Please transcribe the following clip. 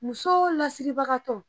Musow lasiribaga tɔ